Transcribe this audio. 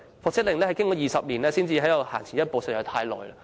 復職令經過20年才能前行一步，僱員已經等了太久。